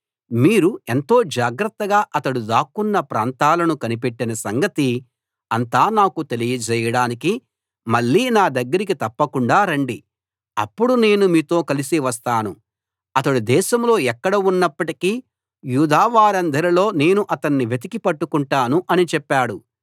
మీరు ఎంతో జాగ్రత్తగా అతడు దాక్కొన్న ప్రాంతాలను కనిపెట్టిన సంగతి అంతా నాకు తెలియజేయడానికి మళ్ళీ నా దగ్గరికి తప్పకుండా రండి అప్పుడు నేను మీతో కలసి వస్తాను అతడు దేశంలో ఎక్కడ ఉన్నప్పటికీ యూదావారందరిలో నేను అతణ్ణి వెతికి పట్టుకొంటాను అని చెప్పాడు